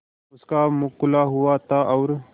उसका मुख खुला हुआ था और